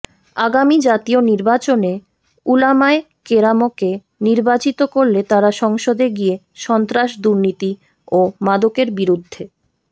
আগামী জাতীয় নির্বাচনে উলামায়ে কেরামকে নির্বাচিত করলে তারা সংসদে গিয়ে সন্ত্রাস দুর্নীতি ও মাদকের বিরুদ্ধে